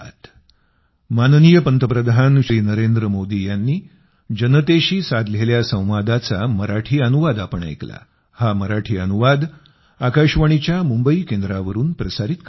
social मिडियावर आम्हाला follow करा पिबमुंबई पिबमुंबई पिबमुंबई